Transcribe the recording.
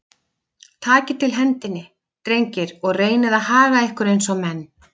Takið til hendinni, drengir, og reynið að haga ykkur eins og menn.